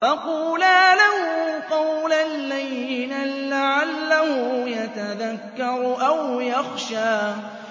فَقُولَا لَهُ قَوْلًا لَّيِّنًا لَّعَلَّهُ يَتَذَكَّرُ أَوْ يَخْشَىٰ